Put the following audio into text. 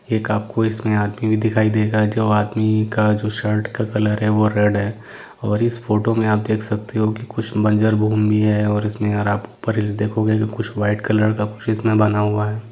एक आपको इस मे आदमि भी दिखाई देगाजो आदमी का जो शर्ट का कलर हैंवो रेड हैं और इस फोटो मे आप देख सकते हो कि कुछ बंजर भूमि हैंऔर इस मे अरब पर देखोगे कुछ वाईट कलर का कुछ इस मे बना हुआ हैं।